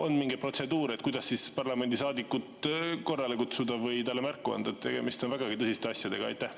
Kas on mingi protseduur, kuidas parlamendisaadikut korrale kutsuda või talle märku anda, et tegemist on vägagi tõsiste asjadega?